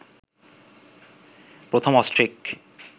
প্রথম অস্ট্রিক